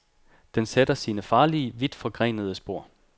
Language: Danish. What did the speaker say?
Den sætter sine farlige, vidt forgrenede spor.